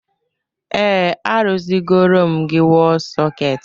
Ee, arụziri gorom m gị wọl sọketị gị